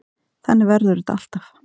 Þannig verður þetta alltaf.